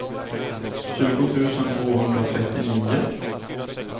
tjugo tusen tvåhundratrettionio